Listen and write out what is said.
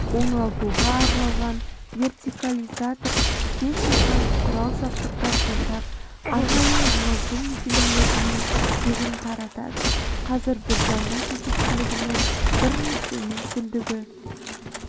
оңалтуға арналған вертикализатор-техникалық құрал-жабдықтар жасап арнайы оңалту мекемелеріне тегін таратады қазір біржанның жетекшілігімен бірнеше мүмкіндігі